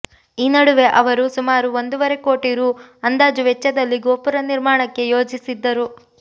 ಈ ನಡುವೆ ಅವರು ಸುಮಾರು ಒಂದೂವರೆ ಕೋಟಿ ರೂ ಅಂದಾಜು ವೆಚ್ಚದಲ್ಲಿ ಗೋಪುರ ನಿರ್ಮಾಣಕ್ಕೆ ಯೋಜಿಸಿದ್ದರು